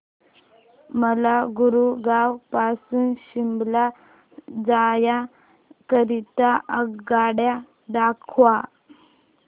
मला गुरगाव पासून शिमला जाण्या करीता आगगाड्या दाखवा